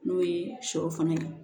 N'o ye sɔ fana ye